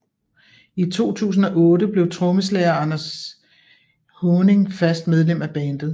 I 2008 blev trommeslager Anders Haaning fast medlem af bandet